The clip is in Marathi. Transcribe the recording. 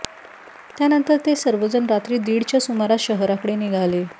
त्यानंतर ते सर्वजण रात्री दीडच्या सुमारास शहराकडे निघाले